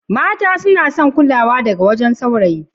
Mata suna son kulawa daga wajen sawrayi